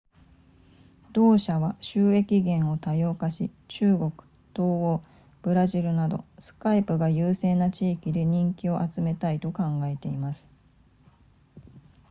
同社は収益源を多様化し中国東欧ブラジルなど skype が優勢な地域で人気を集めたいと考えています